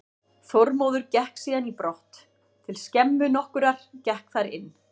Þormóður gekk síðan í brott til skemmu nokkurrar, gekk þar inn.